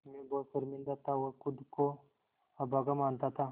मैं बहुत शर्मिंदा था और ख़ुद को अभागा मानता था